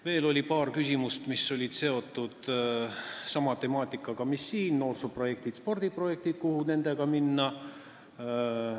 Veel oli paar küsimust, mis olid seotud sama temaatikaga, mille kohta siin küsiti: noorsooprojektid, spordiprojektid, et kuhu nendega edasi minna.